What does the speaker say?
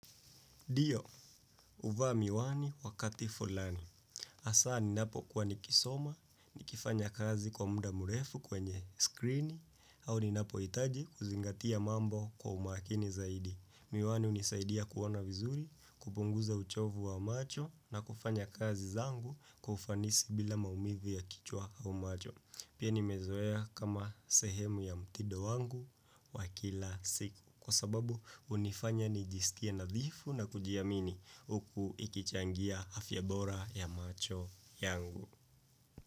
Dio, uvaa miwani wakati fulani. Asa ninapo kuwa nikisoma, nikifanya kazi kwa muda murefu kwenye skrini, au ni napo itaji kuzingatia mambo kwa umakini zaidi. Miwani unisaidia kuwona vizuri, kupunguza uchovu wa macho na kufanya kazi zangu kufanisi bila maumivu ya kichwa au macho. Pia nimezoea kama sehemu ya mtido wangu wa kila siku. Kwa sababu unifanya nijisikie nadhifu na kujiamini uk ikichangia afyabora ya macho yangu.